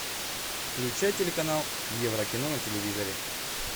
включай телеканал еврокино на телевизоре